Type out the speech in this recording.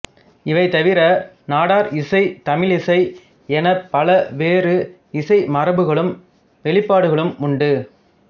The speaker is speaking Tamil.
இவைதவிர நாட்டார் இசை தமிழிசை எனப் பல வேறு இசை மரபுகளும் வெளிப்பாடுகளும் உண்டு